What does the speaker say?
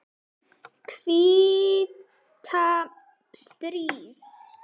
hvíta stríð.